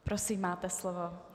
Prosím, máte slovo.